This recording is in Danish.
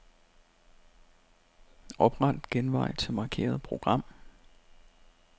Opret genvej til markerede program.